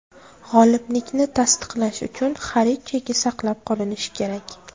G‘oliblikni tasdiqlash uchun xarid cheki saqlab qolinishi kerak.